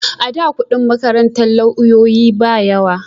A da kudin makarantar lauyoyi ba yawa